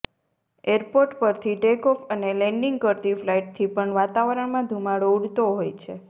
airport પરથી take off અને landing કરતી ફ્લાઇટથી પણ વાતાવરણમાં ધુમાડો ઉડતો હોય છે